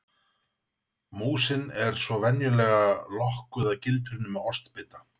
Músin er svo venjulega lokkuð að gildrunni með ostbita.